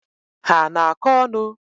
Ha ana akọ onu?